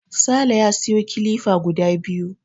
Sale ya siyo kilifa guda biyu.